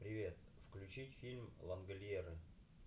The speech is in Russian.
привет включить фильм лангольеры